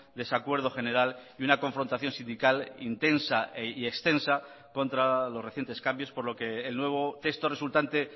desacuerdo general y una confrontación sindical intensa y extensa contra los recientes cambios por lo que el nuevo texto resultante